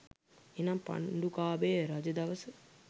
එනම් පණ්ඩුකාභය රජ දවස